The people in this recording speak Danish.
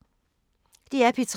DR P3